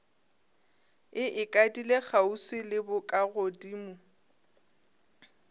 e ikadile kgauswi le bokagodimo